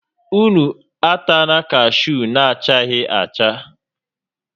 Ụnụ atala kashuu na-achaghị acha!